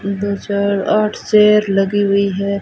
दो चार आठ चेयर लगी हुई है।